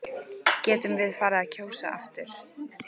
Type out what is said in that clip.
Getum við farið að kjósa aftur?